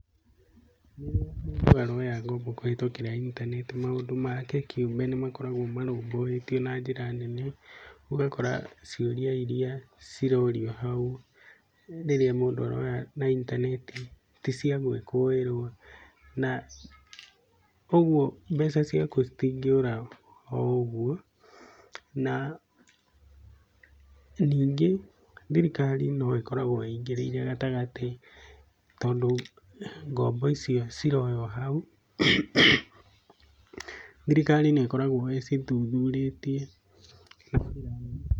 Rĩrĩa mũndũ aroya ngombo kũhĩtũkĩra intaneti maũndũ make kĩũmbe nĩ makoragwo marũmbũĩtio na njĩra nene. Ũgakora ciũria iria cirorio hau rĩrĩa mũndũ aroya na intaneti, ti cia gũĩkũĩrwo, na ũguo mbeca ciaku citingĩũra oũguo. Na ningĩ thirikari no ĩkoragwo ingĩrĩire gatagatĩ, tondũ ngombo icio ciroywo hau, thirikari nĩ ĩkoragwo ĩcithuthurĩtie makĩria.